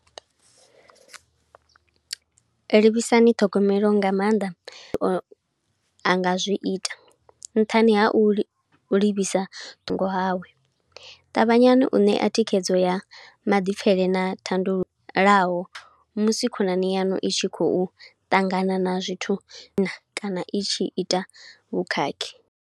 Livhisani ṱhogomelo nga maanḓa, o a nga zwi ita nṱhani ha u li, livhisa thungo hawe. Ṱavhanyani u ṋea thikhedzo ya maḓipfele na thandululo laho musi khonani yanu i tshi khou ṱangana na zwithu, na kana i tshi ita vhukhakhi.